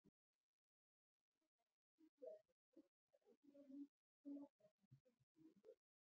Hann yrði bara að útvega sér trausta ábyrgðarmenn og leggja fram tilskilin veð.